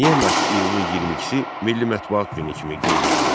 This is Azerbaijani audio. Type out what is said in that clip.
Niyə məhz iyulun 22-si Milli Mətbuat Günü kimi qeyd edilir?